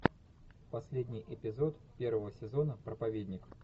последний эпизод первого сезона проповедник